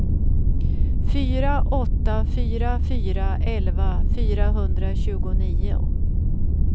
fyra åtta fyra fyra elva fyrahundratjugonio